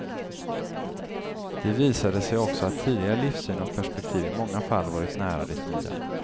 Det visade sig också att tidigare livssyn och perspektiv i många fall varit nära det nya.